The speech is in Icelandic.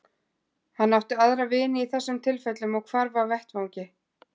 Hann átti aðra vini í þessum tilfellum og hvarf af vettvangi.